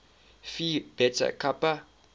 phi beta kappa